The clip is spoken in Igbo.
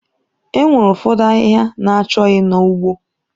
Enwere ụfọdụ ahịhịa na-achọghị na ugbo.